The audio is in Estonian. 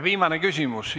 Viimane küsimus.